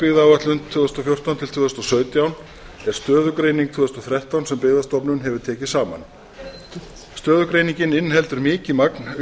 byggðaáætlun tvö þúsund og fjórtán til tvö þúsund og sautján er stöðugreining tvö þúsund og þrettán sem byggðastofnun hefur tekið saman stöðugreiningin inniheldur mikið magn